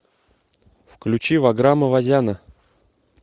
включи ваграма вазяна